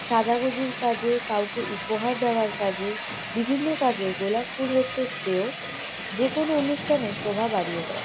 সাজাগুজির কাজে কাউকে উপহার দেওয়ার কাজে বিভিন্ন কাজে গোলাপ ফুল হচ্ছে শ্রেয়। যেকোনো অনুষ্ঠানের শোভা বাড়িয়ে দেয়।